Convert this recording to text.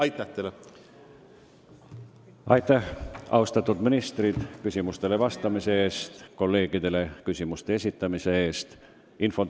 Aitäh teile, austatud ministrid, küsimustele vastamise eest ja kolleegidele küsimuste esitamise eest!